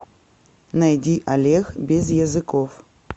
найди олег безъязыков